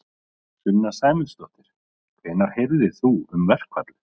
Sunna Sæmundsdóttir: Hvenær heyrðir þú um verkfallið?